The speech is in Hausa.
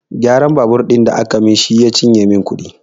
Gyaran babur ɗin da aka min shi ya cinye min kuɗi